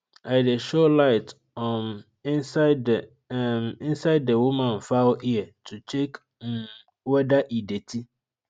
i dey show light um inside the um inside the woman fowl ear to check um whether e dirty